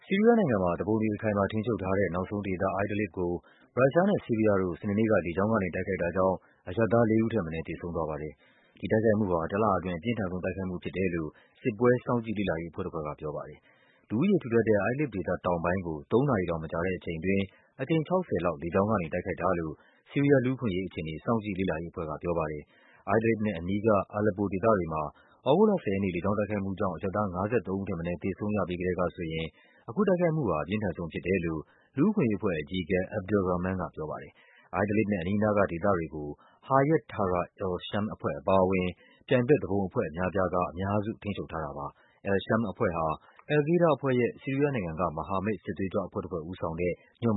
ီးရီးယားနိုင်ငံမှာ သူပုန်တွေ အခိုင်အမာထိန်းချုပ်ထားတဲ့ နောက်ဆုံးဒေသ Idlib ကို ရုရှားနဲ့ ဆီးရီးယားတို့ စနေနေ့က လေကြောင်းကနေ တိုက်ခိုက်တာကြောင့် အရပ်သားလေးဦးထက်မနည်း သေဆုံးသွားပါတယ်။ ဒီတိုက်ခိုက်မှုဟာ တလအတွင်း အပြင်းထန်ဆုံး တိုက်ခိုက်မှုဖြစ်တယ်လို့ စစ်ပွဲ စောင့်ကြည့်လေ့လာရေးအဖွဲ့တဖွဲ့က ပြောပါတယ်။ လူဦးရေထူထပ်တဲ့ Idlib ဒေသ တောင်ပိုင်းကို သုံးနာရီတောင်မကြာတဲ့အချိန်အတွင်း အကြိမ် ၆၀ လောက် လေကြောင်းကနေ တိုက်ခိုက်တာလို့ ဆီးရီးယားလူ့အခွင့်အရေးအခြေအနေ စောင့်ကြည့်လေ့လာရေးအဖွဲ့က ပြောပါတယ်။ Idlib နဲ့ အနီးက Aleppo ဒေသတွေမှာ သြဂုတ်လ ၁၀ ရက်နေ့ လေကြောင်းတိုက်ခိုက်မှုကြောင့် အရပ်သား ၅၃ ဦးထက်မနည်း သေဆုံးရပြီးကတည်းကဆိုရင် အခုတိုက်ခိုက်မှုဟာ အပြင်းထန်ဆုံးဖြစ်တယ်လို့ လူ့အခွင့်အရေးအဖွဲ့ အကြီးအကဲ Abdel Rahman က ပြောပါတယ်။ Idlib နဲ့ အနီးအနားကဒေသတွေကို Hayat Tahrir al-Sham အဖွဲ့အပါအဝင် ပြိုင်ဘက် သူပုန်အဖွဲ့အများအပြားက အများစု ထိန်းချုပ်ထားတာပါ။ al-Sham အဖွဲ့ဟာ al-Qaida အဖွဲ့ရဲ့ ဆီးရီးယားနိုင်ငံက မဟာမိတ် စစ်သွေးကြွအဖွဲ့တဖွဲ့ဦးဆောင်တဲ့ ညွန့်